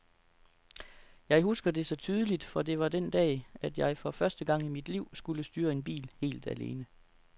Jeg husker det så tydeligt, for det var den dag, at jeg for første gang i mit liv skulle styre en bil helt alene.